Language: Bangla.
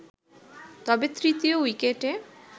তবে তৃতীয় উইকেটে